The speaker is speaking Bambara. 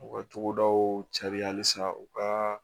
U ka togodaw cari halisa u ka